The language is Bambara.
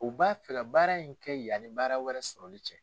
U b'a fɛ ka baara in kɛ yani baara wɛrɛ sɔrɔli cɛ.